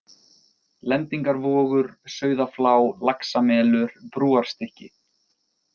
Lendingarvogur, Sauðaflá, Laxamelur, Brúarstykki